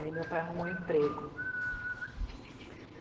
Aí meu pai arrumou emprego.